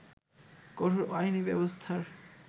কঠোর আইনী ব্যবস্থার